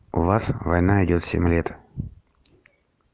у вас война идёт семь лет